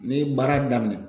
Ni baara daminɛ.